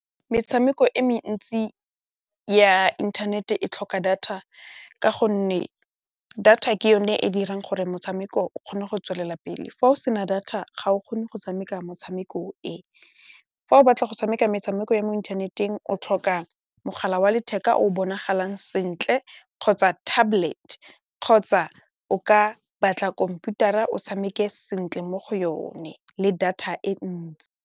Metshameko e mentsi ya inthanete e tlhoka data ka gonne data ke yone e dirang gore motshameko o kgone go tswelela pele fa o sena data ga o kgone go tshameka motshameko e, fa o batla go tshameka metshameko ya mo inthaneteng o tlhoka mogala wa letheka o bonagalang sentle kgotsa tablet kgotsa o ka batla khomputara o tshameke sentle mo go yone le data e ntsi.